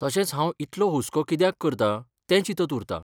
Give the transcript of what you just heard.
तशेंच हांव इतलो हुस्को कित्याक करतां तें चिंतत उरतां.